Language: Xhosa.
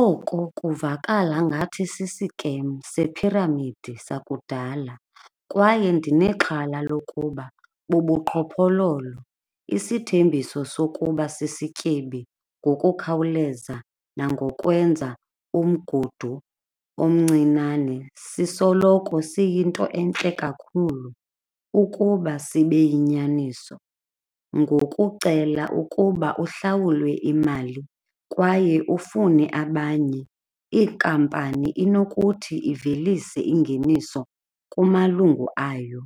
Oko kuvakala ngathi sisikemu sephiramidi sakudala kwaye ndinexhala lokuba bubuqhophololo. Isithembiso sokuba sisityebi ngokukhawuleza nangokwenza umgudu omncinane sisoloko siyinto entle kakhulu ukuba sibe yinyaniso. Ngokucela ukuba uhlawulwe imali kwaye ufune abanye inkampani inokuthi ivelise ingeniso kumalungu ayo